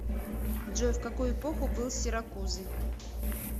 джой в какую эпоху был сиракузы